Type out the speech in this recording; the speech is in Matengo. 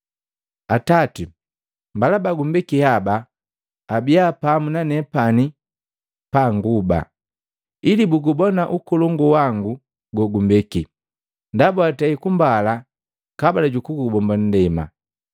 “Atati! Mbala bagumbeki haba abiya pamu na nepani panguba, ili bugubona ukolongu wangu gogumbeki, ndaba watei kumbala kabula jukubomba nndema.